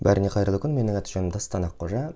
бәріңе қайырлы күн менің аты жөнім дастан аққожа